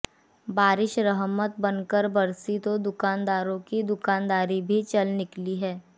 बारिश रहमत बनकर बरसी तो दुकानदारों की दुकानदारी भी चल निकली है